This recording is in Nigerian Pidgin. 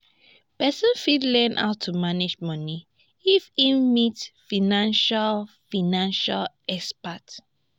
person fit learn how to manage money if im meet financial financial expert